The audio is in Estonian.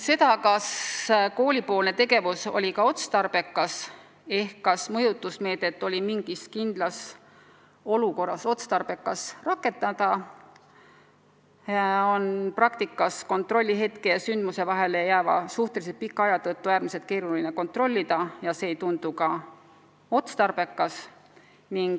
Seda, kas koolipoolne tegevus oli konkreetsel juhul otstarbekas, kas mõjutusmeedet oli mingis kindlas olukorras arukas rakendada, on praktikas kontrollihetke ja sündmuse vahele jääva suhteliselt pika aja tõttu äärmiselt keeruline kontrollida ja see ei tundu ka otstarbekas.